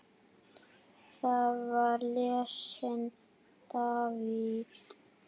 Þar var lesinn David